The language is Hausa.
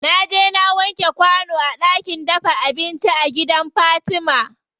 Naje na wanke kwano a ɗakin dafa abinci a gidan fatima.